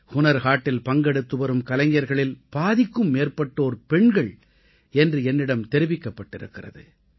ஹுனர் ஹாட்டில் பங்கெடுத்துவரும் கலைஞர்களில் பாதிக்கும் மேற்பட்டோர் பெண்கள் என்று என்னிடம் தெரிவிக்கப் பட்டிருக்கிறது